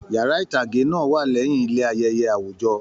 Yàrá itage náà wà lẹyìn ilé ayẹyẹ awujọ.